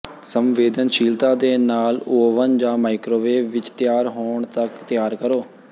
ਸੰਵੇਦਨਸ਼ੀਲਤਾ ਦੇ ਨਾਲ ਓਵਨ ਜਾਂ ਮਾਈਕ੍ਰੋਵੇਵ ਵਿੱਚ ਤਿਆਰ ਹੋਣ ਤੱਕ ਤਿਆਰ ਕਰੋ